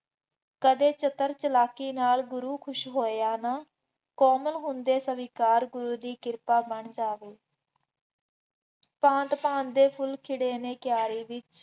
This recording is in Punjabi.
ਕਦੇ ਚਤੁਰ ਚਾਲਾਕੀ ਨਾਲ ਗੁਰੂ ਖੁਸ਼ ਹੋਇਆ ਨਾ, ਕੋਮਲ ਹੁੰਦੇ ਸਵੀਕਾਰ ਗੁਰੂ ਦੀ ਕਿਰਪਾ ਬਣ ਜਾਵੇ, ਭਾਂਤ ਭਾਂਤ ਦੇ ਫੁੱਲ ਖਿੜੇ ਨੇ ਕਿਆਰੇ ਵਿੱਚ